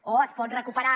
o es pot recuperar